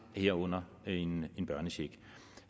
herunder en børnecheck